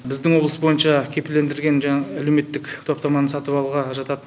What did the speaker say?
біздің облыс бойынша кепілдендірілген жаңа әлеуметтік топтаманы сатып алуға жататын